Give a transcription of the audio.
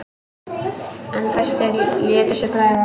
En fæstir létu sér bregða.